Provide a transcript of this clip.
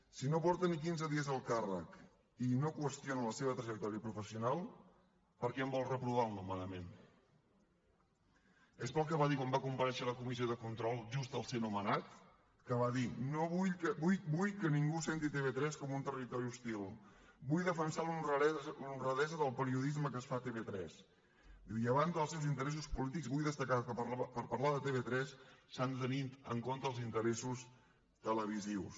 si no porta ni quinze dies al càrrec i no qüestiona la seva trajectòria professional per què en vol reprovar el nomenament és pel que va dir quan va comparèixer a la comissió de control just al ser nomenat que va dir no vull que ningú senti tv3 com un territori hostil vull defensar l’honradesa del periodisme que es fa a tv3 i a banda dels seus interessos polítics vull destacar que per parlar de tv3 s’han de tenir en compte els interessos televisius